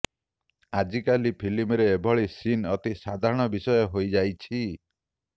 ଆଜିକାଲି ଫିଲ୍ମରେ ଏଭଳି ସିନ୍ ଅତି ସାଧାରଣ ବିଷୟ ହୋଇଯାଇଛି